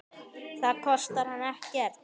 Það kostar hann ekkert.